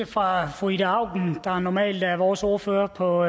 fra fru ida auken der normalt er vores ordfører på